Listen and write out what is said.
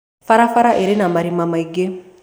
Barabara ĩrĩ na marĩma maĩngĩ